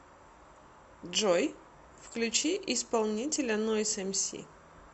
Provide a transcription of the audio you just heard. джой включи исполнителя нойз эмси